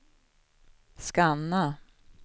scanna